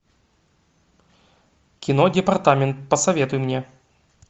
кино департамент посоветуй мне